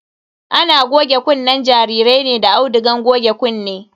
Ana goge kunnen jarirai ne da audugan goge kunne.